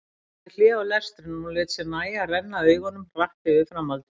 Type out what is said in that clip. Hann gerði hlé á lestrinum og lét sér nægja að renna augunum hratt yfir framhaldið.